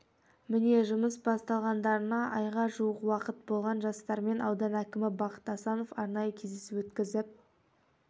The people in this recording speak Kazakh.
міне жұмыс бастағандарына айға жуық уақыт болған жастармен аудан әкімі бақыт асанов арнайы кездесу өткізіп